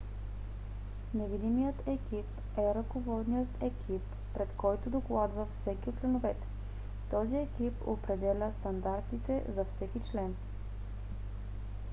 невидимият екип е ръководният екип пред който докладва всеки от членовете. този екип определя стандартите за всеки член